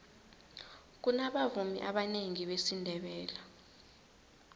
kunabavumi abanengi besindebele